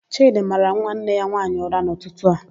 Chịdị mara nwanne ya nwaanyị ụra n'ụtụtụ a.